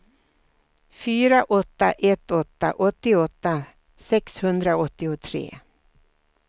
fyra åtta ett åtta åttioåtta sexhundraåttiotre